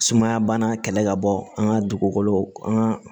Sumaya bana kɛlɛ ka bɔ an ka dugukolo an ka